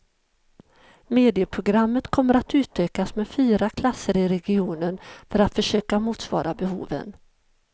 Medieprogrammet kommer att utökas med fyra klasser i regionen för att försöka motsvara behoven.